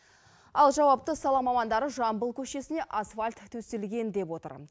ал жауапты сала мамандары жамбыл көшесіне асфальт төселген деп отыр